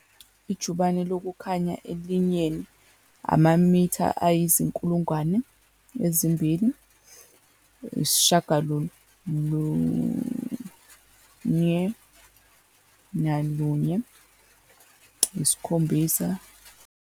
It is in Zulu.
Ijubane lokukhanya elinyeni, amamitha ayizi-299 792 458